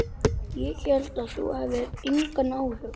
Ég hélt að þú hefðir engan áhuga.